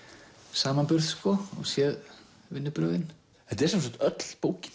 samanburð og séð vinnubrögðin þetta er sem sagt öll bókin